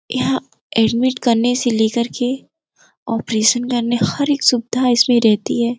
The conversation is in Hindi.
यहां एडमिट करने से लेकर के ऑपरेशन करने हर एक सुविधा इसमें रहती है।